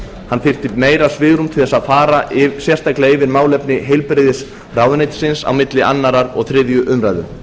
hann þyrfti meira svigrúm til að fara sérstaklega yfir málefni heilbrigðisráðuneytisins á milli annars og þriðju umræðu